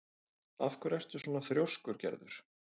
Af hverju ertu svona þrjóskur, Gerður?